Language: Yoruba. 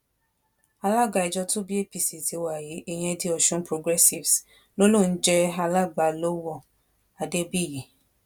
alága ìjọ tó bí apc tiwa yìí ìyẹn the ọsun progressives ló lòun ń jẹ alàgbà lọwọ adébíyì